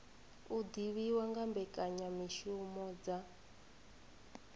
u divhiwa nga mbekanyamishumo dza